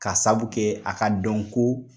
Ka sabu kɛ a ka dɔnko